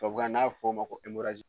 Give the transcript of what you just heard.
Tubabukan na n'a bɛ f'o ma ko